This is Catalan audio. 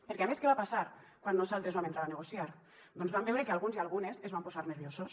perquè a més què va passar quan nosaltres vam entrar a negociar doncs vam veure que alguns i algunes es van posar nerviosos